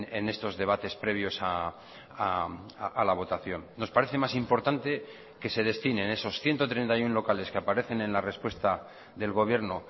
en estos debates previos a la votación nos parece más importante que se destinen esos ciento treinta y uno locales que aparecen en la respuesta del gobierno